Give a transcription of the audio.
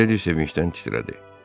Mileydi sevincdən titrədi.